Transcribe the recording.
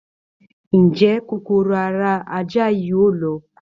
Ǹ jẹ́ kòkòrò ara ajá yìí yóò lọ?